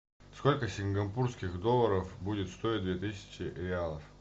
сколько сингапурских долларов будет стоить две тысячи реалов